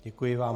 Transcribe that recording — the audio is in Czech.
Děkuji vám.